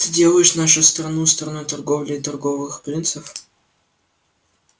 ты делаешь нашу страну страной торговли и торговых принцев